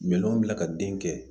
Minɛnw bila ka den kɛ